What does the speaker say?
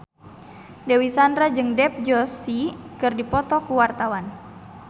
Dewi Sandra jeung Dev Joshi keur dipoto ku wartawan